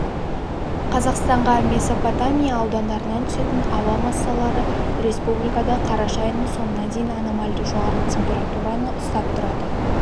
қазақстанға месопотами аудандарынан түсетін ауа массалары республикада қараша айының соңына дейін аномальды жоғары температураны ұстап тұрады